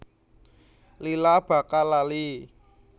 Lila bakal lali